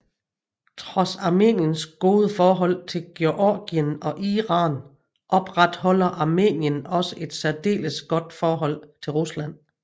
Trods Armeniens gode forhold til Georgien og Iran opretholder Armenien også et særdeles godt forhold til Rusland